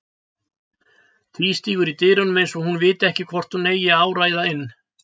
Tvístígur í dyrunum eins og hún viti ekki hvort hún eigi að áræða inn.